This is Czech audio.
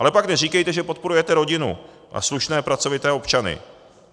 Ale pak neříkejte, že podporujete rodinu a slušné, pracovité občany.